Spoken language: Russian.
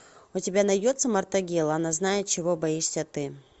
у тебя найдется мартагел она знает чего боишься ты